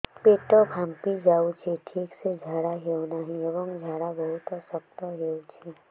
ପେଟ ଫାମ୍ପି ଯାଉଛି ଠିକ ସେ ଝାଡା ହେଉନାହିଁ ଏବଂ ଝାଡା ବହୁତ ଶକ୍ତ ହେଉଛି